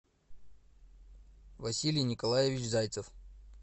василий николаевич зайцев